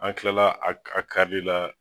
An kila la a a karili la